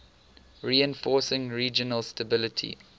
reinforcing regional stability